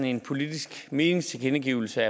en politisk meningstilkendegivelse